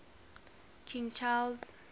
king charles